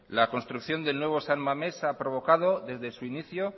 la construcción del nuevo san mamés ha provocado desde su inicio